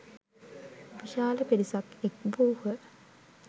විශාල පිරිසක් එක් වූහ.